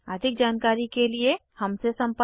अधिक जानकारी के लिए हमसे संपर्क करें